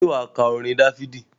Ṣé wà á ka orin Dáfídì?